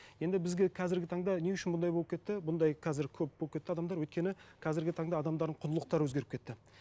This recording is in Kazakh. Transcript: енді бізге қазіргі таңда не үшін бұндай болып кетті бұндай қазір көп болып кетті адамдар өйткені қазіргі таңда адамдардың құндылықтары өзгеріп кетті